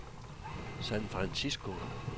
San Francisco